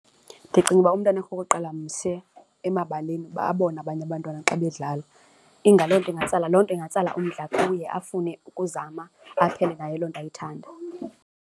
Ndicinga uba umntwana, okokuqala, mse emabaleni uba abone abanye abantwana xa bedlala loo nto ingatsala loo nto ingatsala umdla kuye afune ukuzama aphele naye loo nto ayithanda.